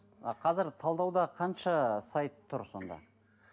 а қазір талдауда қанша сайт тұр сонда